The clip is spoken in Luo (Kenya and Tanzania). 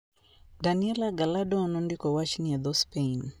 Daniela Gallardo nondiko wachni e dho - Spain.